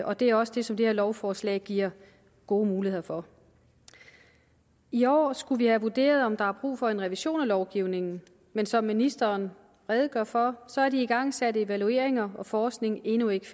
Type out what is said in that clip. og det er også det som det her lovforslag giver gode muligheder for i år skulle vi have vurderet om der var brug for en revision af lovgivningen men som ministeren redegjorde for så er de igangsatte evalueringer og forskning endnu ikke